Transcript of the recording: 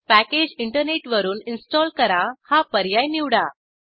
packages internet वरून install करा हा पर्याय निवडा